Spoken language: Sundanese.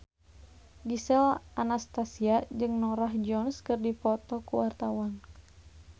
Gisel Anastasia jeung Norah Jones keur dipoto ku wartawan